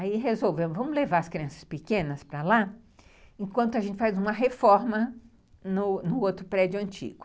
Aí resolvemos, vamos levar as crianças pequenas para lá, enquanto a gente faz uma reforma no no outro prédio antigo.